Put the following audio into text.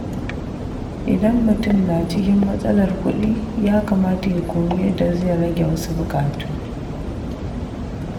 Idan mutum na cikin matsalar kuɗi, ya kamata ya koyi yadda zai rage wasu buƙatu.